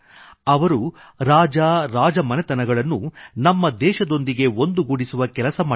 ಅವರು ರಾಜರಾಜ ಮನೆತನಗಳನ್ನುನಮ್ಮ ದೇಶದೊಂದಿಗೆ ಒಂದುಗೂಡಿಸುವ ಕೆಲಸ ಮಾಡಿದರು